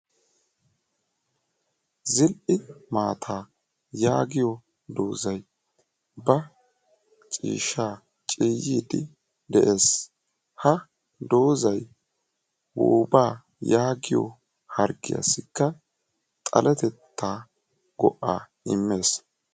Zil"i maataa yaagiyoo doozay ba ciiyyiidi de'ees. ha doozay woobaa yaagiyoo harggiyaagassikka xaletettaa go"aa immees.